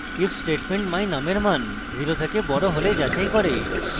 if statement my _ num এর মান 0 এর থেকে বড় হলে যাচাই করবে